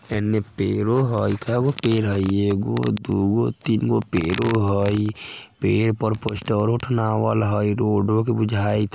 इने पेड़ो हेय केगो पेड़ हय एगो दूगो तीन गो पेड़ो हइ पेड़ पर पोस्टर रोड के बिजाय| --